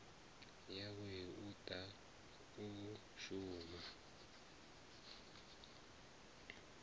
yawe u ḓa u shuma